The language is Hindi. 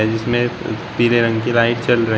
जिसमें पीले रंग की लाइट जल रही--